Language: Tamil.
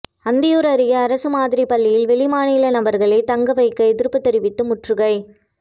அந்தியூர் அருகே அரசு மாதிரி பள்ளியில் வெளிமாநில நபர்களை தங்க வைக்க எதிர்ப்பு தெரிவித்து முற்றுகை